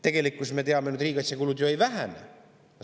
Tegelikkuses ju, nagu me teame, riigikaitsekulud ei vähene.